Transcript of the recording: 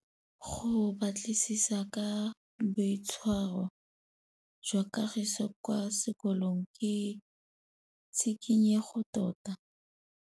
Go batlisisa ka boitshwaro jwa Kagiso kwa sekolong ke tshikinyêgô tota.